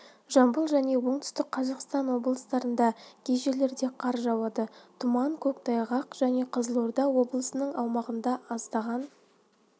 жамбыл және оңтүстік қазақстан облыстарында кей жерлерде қар жауады тұман көктайғақ және қызылорда облысының аумағында аздаған